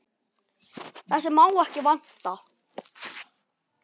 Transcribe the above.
Það sem má ekki vanta!